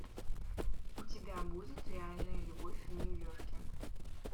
у тебя будет реальная любовь в нью йорке